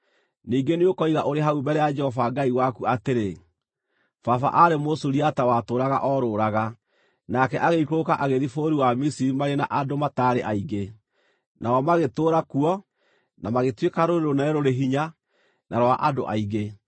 Ningĩ nĩũkoiga ũrĩ hau mbere ya Jehova Ngai waku atĩrĩ: “Baba aarĩ Mũsuriata watũũraga orũũraga, nake agĩikũrũka agĩthiĩ bũrũri wa Misiri marĩ na andũ mataarĩ aingĩ, nao magĩtũũra kuo na magĩtuĩka rũrĩrĩ rũnene rũrĩ hinya na rwa andũ aingĩ.